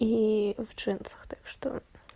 и в джинсах так что